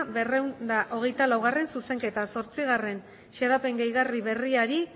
berrehun eta hogeita laugarrena zuzenketa zortzigarren xedapen gehigarri berriari